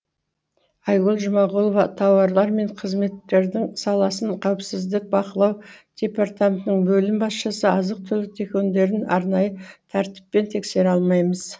айгүл жұмағұлова тауарлар мен қызметтердің саласын қауіпсіздігін бақылау департаментінің бөлім басшысы азық түлік дүкендерін арнайы тәртіппен тексере алмаймыз